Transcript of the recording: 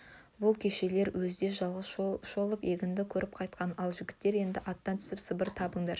бұл кешелер өзі де жалғыз шолып егінді көріп қайтқан ал жігіттер енді аттан түсіп сабыр табындар